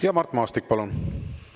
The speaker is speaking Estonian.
Ja Mart Maastik, palun!